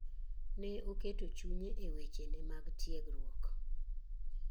Ne oketo chunye e weche ne mag tiegruok